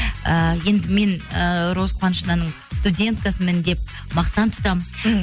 ііі енді мен і роза қуанышовнаның студенткасымын деп мақтан тұтамын мхм